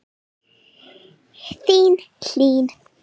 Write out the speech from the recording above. Þín Hlín.